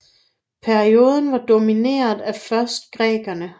Perioden var domineret af først grækerne